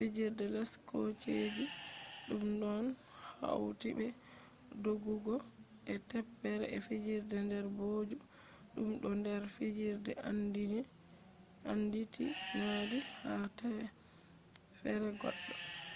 fijirde les kooseje ɗum ɗon hauti be doggugo e teppere e fijirde nder booju ɗum do nder fijirde anditinaadi haa teffere goɗɗo